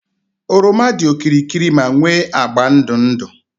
oroma dị okirikiri ma nwee agba ndụ ndụ